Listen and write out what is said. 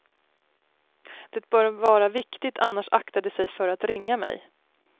Det bör vara viktigt annars aktar de sig för att ringa mig.